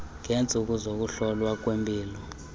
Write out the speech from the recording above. ngeentsuku zokuhlolwa kwempilo